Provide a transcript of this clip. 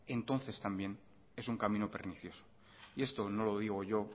entonces también es un camino pernicioso esto no lo digo yo